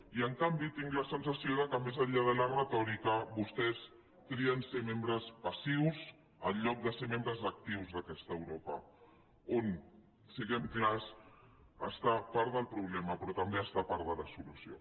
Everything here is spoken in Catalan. i en canvi tinc la sensació que més enllà de la retòrica vostès trien ser membres passius en lloc de ser membres actius d’aquesta europa on siguem clars està part del problema però també està part de la solució